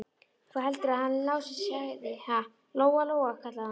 Hvað heldurðu að hann Lási segði, ha, Lóa-Lóa, kallaði hún.